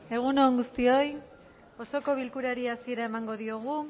egun on guztioi osoko bilkurari hasiera emango diogu